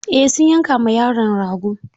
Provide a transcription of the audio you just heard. Eh sun yanka ma yaron rago.